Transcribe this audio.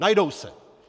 Najdou se.